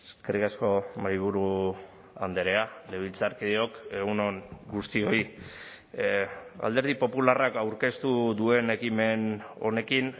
eskerrik asko mahaiburu andrea legebiltzarkideok egun on guztioi alderdi popularrak aurkeztu duen ekimen honekin